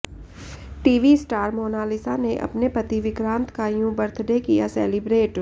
TV star Monalisa ने अपने पति विक्रांत का यूं बर्थडे किया सेलिब्रेट